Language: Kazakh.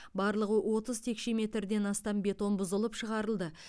барлығы отыз текше метрден астам бетон бұзылып шығарылды